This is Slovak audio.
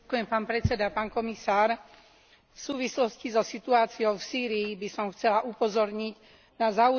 V súvislosti so situáciou v Sýrii by som chcela upozorniť na zaujímavý rozdiel medzi dvoma rezolúciami.